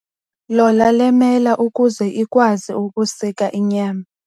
Lola le mela ukuze ikwazi ukusika inyama.